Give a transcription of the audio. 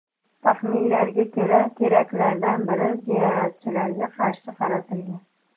Taxminlarga ko‘ra, teraktlardan biri ziyoratchilarga qarshi qaratilgan.